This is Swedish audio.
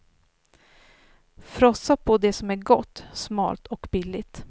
Frossa på det som är gott, smalt och billigt.